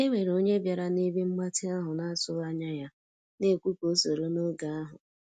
E nwere onye bịara na ebe mgbatị ahụ na atụghị anya ya, na ekwu ka o soro n'oge ahu